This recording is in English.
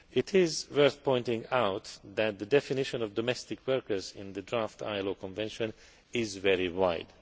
It is worth pointing out that the definition of domestic workers in the draft ILO Convention is very wide.